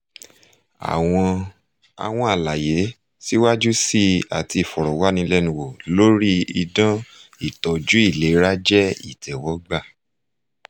àwọn àwọn àlàyé síwájú sí i àti ìfọ̀rọ̀wánilẹ́nuwò lórí idán ìtọ́jú ìlera jẹ́ ìtẹ́wọ́gbà